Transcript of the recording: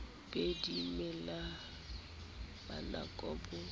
be di mela manaka bo